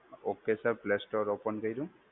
Okay sir. Play Store open કર્યું.